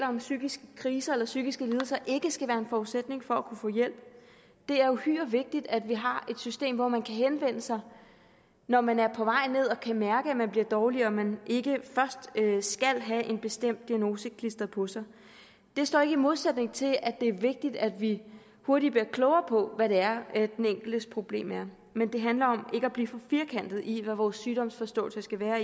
om psykiske kriser eller psykiske lidelser ikke skal være en forudsætning for at kunne få hjælp det er uhyre vigtigt at vi har et system hvor man kan henvende sig når man er på vej ned og kan mærke at man bliver dårlig og hvor man ikke først skal have en bestemt diagnose klistret på sig det står ikke i modsætning til at det er vigtigt at vi hurtigt bliver klogere på hvad det er den enkeltes problem er men det handler om ikke at blive for firkantet i hvad vores sygdomsforståelse skal være